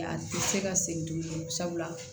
A tɛ se ka segin tuguni sabula